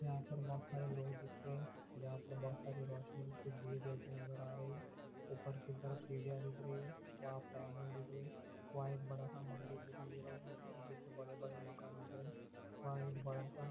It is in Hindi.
यहा पर बहुत सारे लोग दिख रहे हे जहा बहुत सारी रोसनी नजर रही है ऊपर की तरफ से सीडिया दिख रही हे वह पर एक बड़ा सा मोल दिखाई दे रहे हे बड़े बड़े मकान दिख रहे हैं। वह एक बड़ा सा --